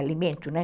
Alimento, né?